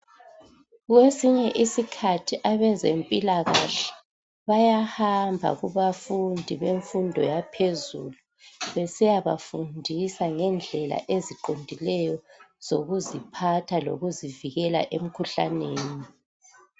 Kwesinye isikhathi abezempilakahle bayahamba kubafundi bemfundo yaphezulu besiyabafundisa ngendlela eziqondileyo zokuziphatha lokuzivikela emkhuhlaneni